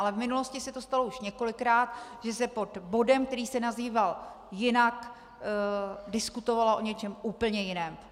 Ale v minulosti se to stalo už několikrát, že se pod bodem, který se nazýval jinak, diskutovalo o něčem úplně jiném.